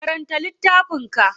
Karanta littafin ka.